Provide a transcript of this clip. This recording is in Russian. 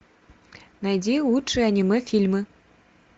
найди лучшие аниме фильмы